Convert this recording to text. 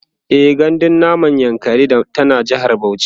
e gandun namun dajin yankari tana jehar Bauchi